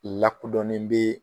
Lakodɔnnen bee